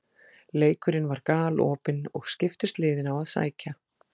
Leikurinn var galopinn og skiptust liðin á að sækja.